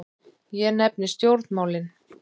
Ég nefni stjórnmálin.